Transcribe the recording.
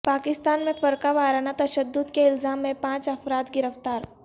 پاکستان میں فرقہ وارانہ تشدد کے الزام میں پانچ افراد گرفتار